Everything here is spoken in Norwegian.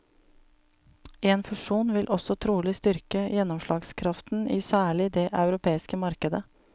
En fusjon vil også trolig styrke gjennomslagskraften i særlig det europeiske markedet.